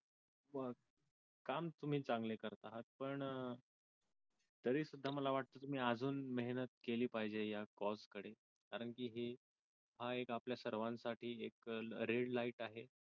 वा काम तुम्ही चांगले करत आहात पण तरी सुद्धा मला वाटत तुम्ही अजून मेहनत केली पाहिजे या कॉस कडे कारण हा आपल्या सर्वाणसाठी एक रेड लाईट आहे